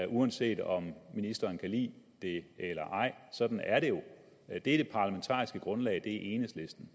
uanset om ministeren kan lide det eller ej sådan er det jo det er det parlamentariske grundlag enhedslisten